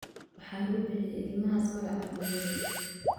Waxaan u bixiyay ilmahaas magaca hooyaday